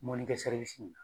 Mɔnikɛ